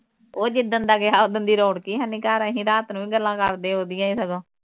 ਉਹ ਜਿੱਦਣ ਦਾ ਗਿਆ ਉਸ ਦਿਨ ਦੀ ਰੌਣਕ ਹੈ ਨਹੀ ਘਰ ਅਸੀ ਰਾਤ ਨੂੰ ਵੀ ਗੱਲਾਂ ਕਰਦੇ ਆ ਉਸਦੀਆਂ ਸਗੋਂ